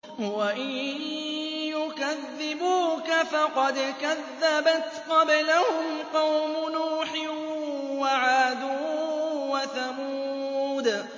وَإِن يُكَذِّبُوكَ فَقَدْ كَذَّبَتْ قَبْلَهُمْ قَوْمُ نُوحٍ وَعَادٌ وَثَمُودُ